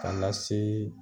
Kana na se.